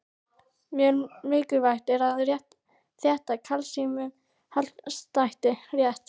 Mjög mikilvægt er að þetta kalsíummagn haldist rétt.